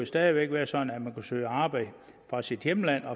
stadig væk være sådan at man kunne søge arbejde fra sit hjemland